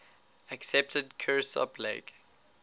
accepted kirsopp lake